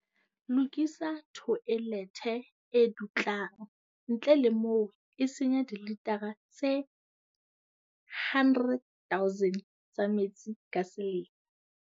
Lokisa thoelethe e dutlang, ntle le moo e senya dilitara tse 100 000 tsa metsi ka selemo.